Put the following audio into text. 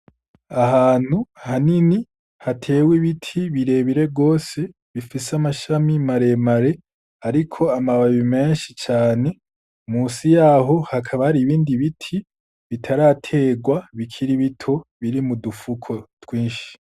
Ahantu hanini hatewe ibiti bire bire gose bifise amashami mare mare ariko amababi menshi cane, musi yaho hakaba hari ibindi biti bitaraterwa bikiri bito biri mu dufuko twinshi.